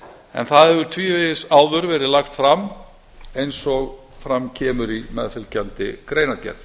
en það hefur tvívegis áður verið lagt fram eins og fram kemur í meðfylgjandi greinargerð